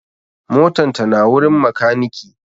motan ta na wurin makaniki